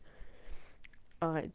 а